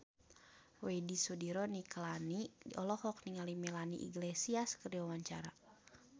Widy Soediro Nichlany olohok ningali Melanie Iglesias keur diwawancara